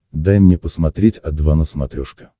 дай мне посмотреть о два на смотрешке